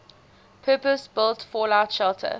purpose built fallout shelter